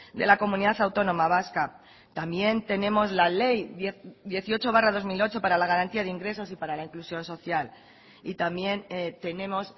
de la comunidad autónoma vasca también tenemos la ley dieciocho barra dos mil ocho para la garantía de ingresos y para la inclusión social y también tenemos